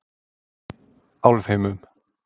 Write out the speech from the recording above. Álfheimum